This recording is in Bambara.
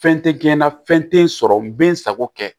Fɛn tɛ kɛ na fɛn tɛ n sɔrɔ n bɛ n sago kɛ